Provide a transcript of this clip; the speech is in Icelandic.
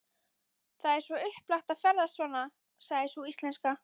Það er svo upplagt að ferðast svona, sagði sú íslenska.